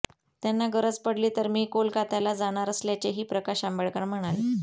त्यांना गरज पडली तर मी कोलकात्याला जाणार असल्याचेही प्रकाश आंबेडकर म्हणाले